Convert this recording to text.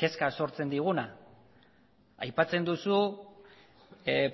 kezka sortzen diguna aipatzen duzu